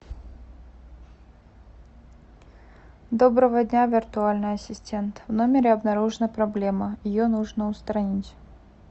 доброго дня виртуальный ассистент в номере обнаружена проблема ее нужно устранить